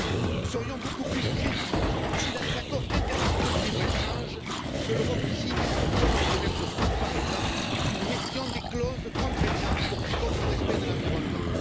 Nous serions beaucoup plus crédibles si, dans les accords internationaux de libre échange que l'Europe signe comme avec le Mercosur, par exemple nous mettions des clauses contraignantes telles que le respect de l'environnement.